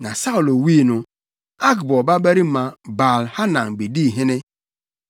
Na Saulo wui no, Akbor babarima Baal-Hanan bedii hene.